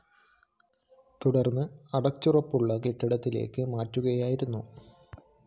തുടര്‍ന്ന് അടച്ചുറപ്പുള്ള കെട്ടിടത്തിലേക്ക് മാറ്റുകയായിരുന്നു